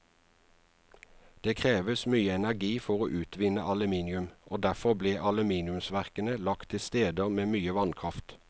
Det kreves mye energi for å utvinne aluminium, og derfor ble aluminiumsverkene lagt til steder med mye vannkraft.